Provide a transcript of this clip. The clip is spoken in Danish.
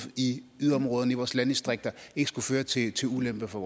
i yderområderne i vores landdistrikter og ikke skulle føre til til ulemper for